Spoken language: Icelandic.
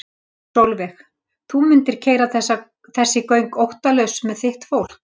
Sólveig: Þú mundir keyra þessi göng óttalaus með þitt fólk?